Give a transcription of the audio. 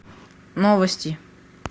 новости